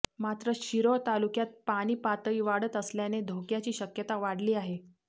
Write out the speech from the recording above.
मात्र शिरोळ तालुक्यात पाणी पातळी वाढत असल्याने धोक्याची शक्यता वाढली आहे